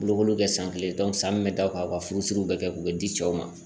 Bolokoli bɛ kɛ san kelen san min bɛ da o kan u ka furusiri bɛ kɛ o bɛ di cɛw ma